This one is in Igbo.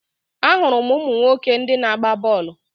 Ahụrụ m ụmụ nwoke ndị na-agba bọọlụ.